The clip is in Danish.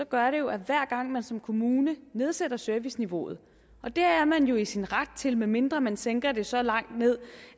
gør det jo at hver gang man som kommune nedsætter serviceniveauet og det er man i sin ret til medmindre man sænker det så langt ned